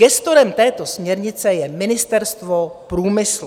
Gestorem této směrnice je Ministerstvo průmyslu.